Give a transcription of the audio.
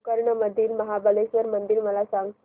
गोकर्ण मधील महाबलेश्वर मंदिर मला सांग